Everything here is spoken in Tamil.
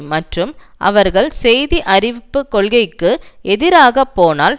மற்றும் அவர்கள் செய்தி அறிவிப்பு கொள்கைக்கு எதிராக போனால்